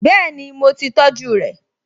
Bẹ́ẹ̀ni, mo ti tọjú rẹ̀?